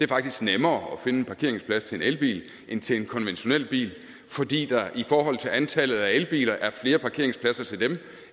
faktisk nemmere at finde en parkeringsplads til en elbil en til en konventionel bil fordi der i forhold til antallet af elbiler er flere parkeringspladser til dem